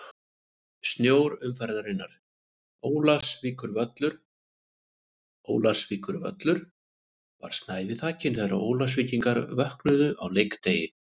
Snjór umferðarinnar: Ólafsvíkurvöllur Ólafsvíkurvöllur var snævi þakinn þegar Ólafsvíkingar vöknuðu á leikdegi.